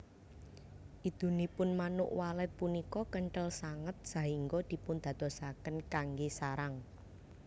Idunipun Manuk Walet punika kenthel sanget sahingga dipundadosaken kanggé sarang